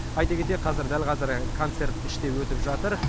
айта кетейік қазір дәл қазір концерт іште өтіп жатыр